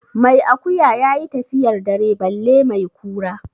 Mai akuya ya yi tafiyar dare balle mai kura.